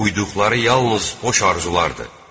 Uyduqları yalnız boş arzularıdır.